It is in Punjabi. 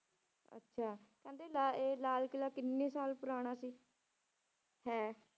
ਅੱਛਾ ਕਹਿੰਦੇ ਲਾ~ ਇਹ ਲਾਲ ਕਿਲ੍ਹਾ ਕਿੰਨੇ ਸਾਲ ਪੁਰਾਣਾ ਸੀ ਹੈ?